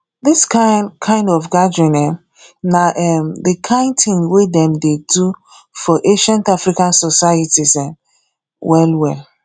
this kind kind of gathering um na um the kind thing wey dem dey do for ancient african societies um well well